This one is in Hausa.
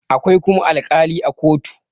akwai kuma alƙali a kotu